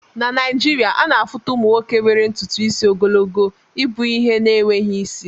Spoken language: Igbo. Na Naịjirịaana afuta ụmụ nwoke nwere ntutu isi ogologo ibu ihe na-enweghị isi